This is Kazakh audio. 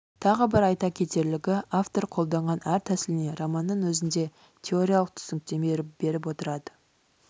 тағы бір айта кетерлігі автор қолданған әр тәсіліне романның өзінде теориялық түсініктеме беріп отырады